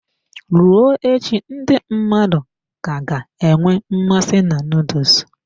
Ruo echi, ndị mmadụ ka ga-enwe mmasị na nuduls.